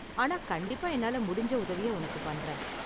ஆனா கண்டிப்பா என்னால முடிஞ்ச உதவிய உனக்கு பண்றேன்.